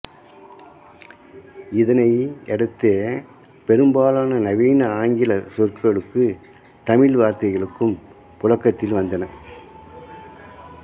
இதனையடுத்தே பெரும்பாலான நவீன ஆங்கிலச் சொற்களுக்கு தமிழ் வார்த்தைகளும் புழக்கத்தில் வந்தன